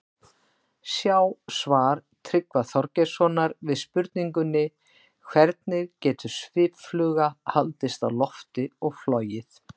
Sjá svar Tryggva Þorgeirssonar við spurningunni Hvernig getur sviffluga haldist á lofti og flogið?